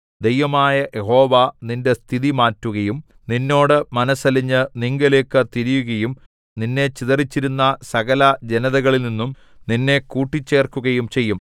ദൈവമായ യഹോവ നിന്റെ സ്ഥിതി മാറ്റുകയും നിന്നോട് മനസ്സലിഞ്ഞ് നിങ്കലേക്കു തിരിയുകയും നിന്നെ ചിതറിച്ചിരുന്ന സകല ജനതകളിൽനിന്നും നിന്നെ കൂട്ടിച്ചേർക്കുകയും ചെയ്യും